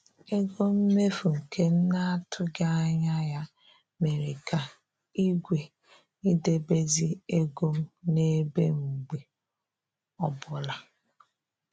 Ego mmefu nke m na-atụghị anya ya mere ka igwe idebezi ego m na-ebe mgbe ọbụla